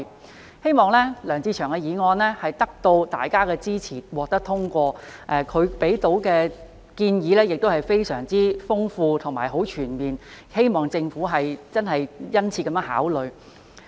我希望梁志祥議員的議案能得到大家的支持，獲得通過；他提出的建議非常豐富和全面，希望政府能殷切考慮。